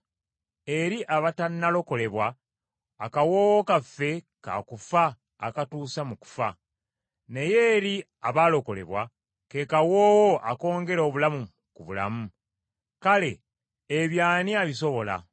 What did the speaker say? Eri abatannalokolebwa, akawoowo kaffe ka kufa akatuusa mu kufa, naye eri abalokolebwa, ke kawoowo akongera obulamu ku bulamu. Kale ebyo ani abisobola?